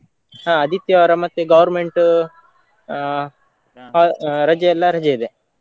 ಹಾ ಆದಿತ್ಯವಾರ ಮತ್ತೆ government ಹಾ ರಜೆಯಲ್ಲ ರಜೆ ಇದೆ.